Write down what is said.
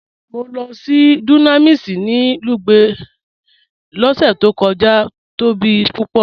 Mọ́ lọ sí Dunamis ni Lugbe lọ́sẹ̀ tó kọja, ó tóbi púpọ̀.